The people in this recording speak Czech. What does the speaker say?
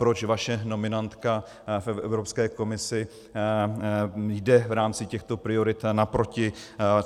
Proč vaše nominantka v Evropské komisi jde v rámci těchto priorit naproti.